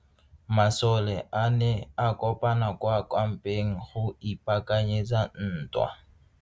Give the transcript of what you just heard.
Masole a ne a kopane kwa kampeng go ipaakanyetsa ntwa.